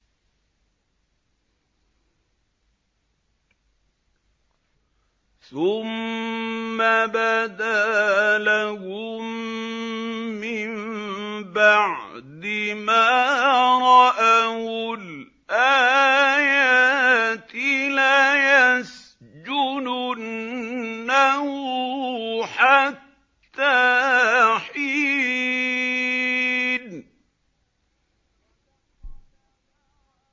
ثُمَّ بَدَا لَهُم مِّن بَعْدِ مَا رَأَوُا الْآيَاتِ لَيَسْجُنُنَّهُ حَتَّىٰ حِينٍ